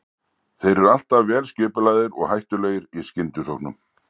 Þeir eru alltaf vel skipulagðir og hættulegir í skyndisóknum.